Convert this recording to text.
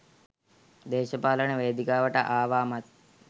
දේශපාලන වේදිකාවට ආවාමත්